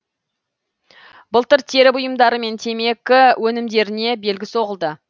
былтыр тері бұйымдары мен темекі өнімдеріне белгі соғылды